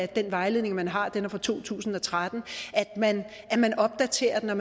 den vejledning man har som er fra to tusind og tretten at man opdaterer den og